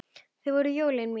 Þið voruð jólin mín.